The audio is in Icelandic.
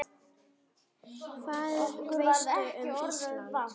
Hvað veistu um Ísland?